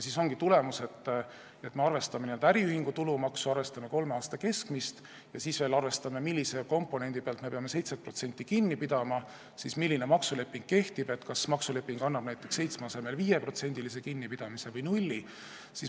Siis ongi tulemus, et me arvestame äriühingu tulumaksu, arvestame kolme aasta keskmist ja siis veel arvestame, millise komponendi pealt me peame 7% kinni pidama, siis vaatame, milline maksuleping kehtib ning kas see maksuleping võimaldab näiteks 7% asemel pidada kinni 5% või 0%.